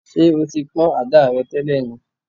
Ṣé o ti pọ̀n ada rẹ̀ tẹ́lẹ̀ ni?